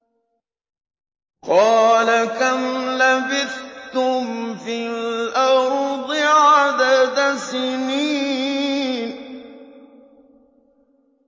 قَالَ كَمْ لَبِثْتُمْ فِي الْأَرْضِ عَدَدَ سِنِينَ